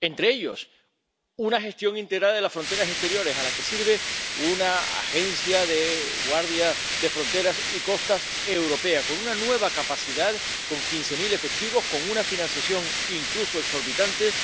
Entre ellos, una gestión integrada de las fronteras exteriores, a la que sirve la Agencia Europea de la Guardia de Fronteras y Costas con una nueva capacidad, con quince mil efectivos, con una financiación incluso exorbitante,